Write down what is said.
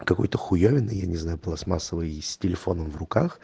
какой хуевиной я не знаю пластмассовой и с телефоном в руках